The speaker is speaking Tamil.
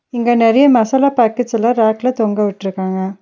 இங்க நறையா மசாலா பாக்கெட்ஸ்லா ரேக்ல தொங்க விட்ருக்காங்க.